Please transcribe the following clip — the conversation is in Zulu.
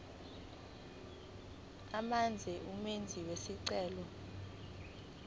amazwe umenzi wesicelo